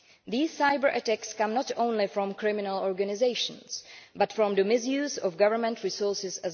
These cyber attacks come not only from criminal organisations but also from the misuse of government resources.